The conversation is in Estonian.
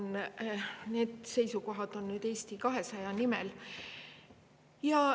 Nüüd ma esitan seisukohad Eesti 200 nimel.